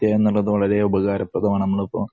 എന്നുള്ളത് വളരെ ഉപകാരപ്രദമാണ്. നമ്മളിപ്പോ